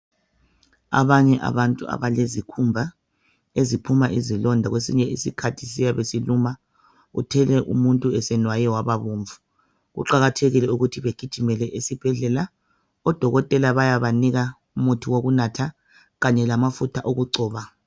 Abanye abantu abalezikhumba eziphuma izilonda kwesinye isikhathi ziyabe siluma uthole umuntu senwaye wababomvu, kuqakathekile ukuthi begijimele ezibhedlela odokotela bayabanika umuthi wokunatha kanye lomuthi wokugcoba.